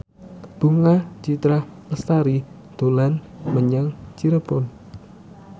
Bunga Citra Lestari dolan menyang Cirebon